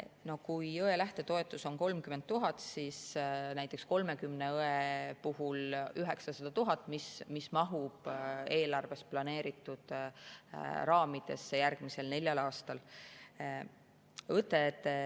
No kui õdede lähtetoetus on 30 000, siis näiteks 30 õe puhul on see 900 000, mis mahub järgmisel neljal aastal eelarves planeeritud raamidesse.